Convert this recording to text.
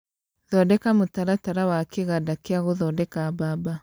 Thondeka mũtaratara wa kĩganda kĩa gũthondeka mbamba